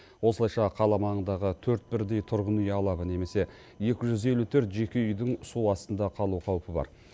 осылайша қала маңындағы төрт бірдей тұрғын үй алабы немесе екі жүз елу төрт жеке үйдің су астында қалу қаупі бар